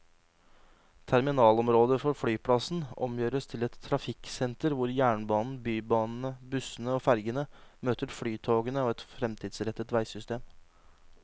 Terminalområdet for flyplassen omgjøres til et trafikksenter hvor jernbanen, bybanene, bussene og fergene møter flytogene og et fremtidsrettet veisystem.